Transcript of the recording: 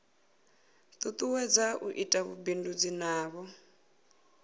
tutuwedza u ita vhubindudzi navho